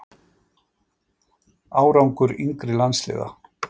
Árangur yngri landsliða?